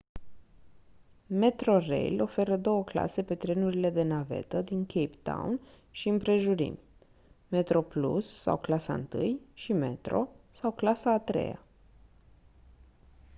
metrorail oferă două clase pe trenurile de navetă din cape town și împrejurimi: metroplus sau clasa întâi și metro sau clasa a treia